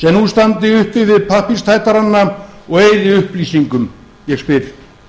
sem nú standi uppi við pappírstætarana og eyði upplýsingum ég spyr